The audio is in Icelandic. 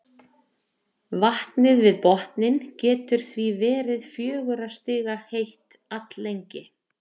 vatnið við botninn getur því verið fjögurra stiga heitt alllengi